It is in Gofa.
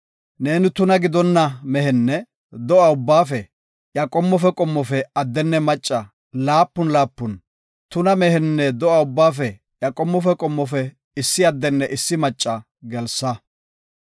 Neeni tuna gidonna mehenne do7a ubbaafe iya qommofe qommofe addenne macca laapun laapun, tuna mehenne do7a ubbaafe iya qommofe qommofe issi addenne issi macca gelsa.